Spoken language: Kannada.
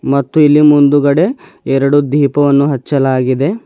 ಮತ್ತು ಇಲ್ಲಿ ಮುಂದುಗಡೆ ಎರಡು ದೀಪವನ್ನು ಹಚ್ಚಲಾಗಿದೆ.